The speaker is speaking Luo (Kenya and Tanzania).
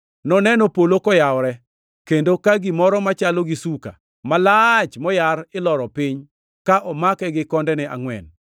Noneno polo koyawore, kendo ka gimoro machalo gi suka malach moyar iloro piny ka omake gi kondene angʼwen.